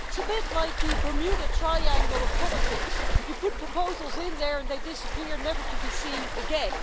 It's a bit like the Bermuda Triangle of politics you put proposals in there and they disappear, never to be seen again.